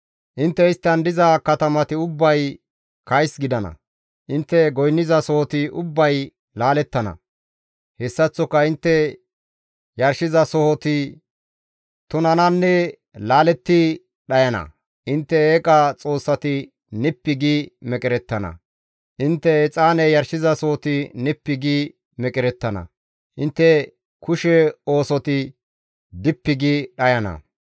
Intte isttan diza katamati ubbay kays gidana; intte goynnizasoti ubbay laalettana; hessaththoka intte yarshizasohoti tunananne laaletti dhayana; intte eeqa xoossati nippi gi meqerettana; intte exaane yarshizasohoti nippi gi meqerettana; intte kushe oosoti dippi gi dhayana.